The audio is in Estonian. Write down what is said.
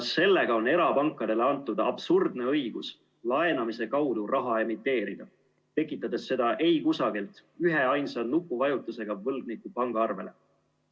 Sellega on erapankadele antud absurdne õigus laenamise kaudu raha emiteerida, tekitades seda eikusagilt üheainsa nupuvajutusega võlgniku pangaarvele.